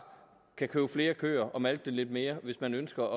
købe flere køer og malke dem lidt mere hvis man ønsker